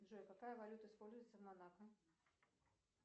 джой какая валюта используется в монако